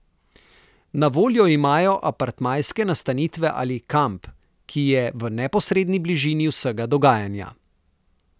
Na voljo imajo apartmajske nastanitve ali kamp, ki je v neposredni bližini vsega dogajanja.